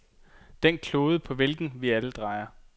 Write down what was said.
Den klode på hvilken vi alle drejer.